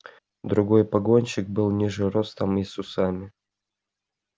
другой погонщик был ниже ростом и с усами